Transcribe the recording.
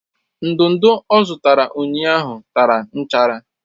Ndudu ọ zụtara ụnyaahụ tara nchara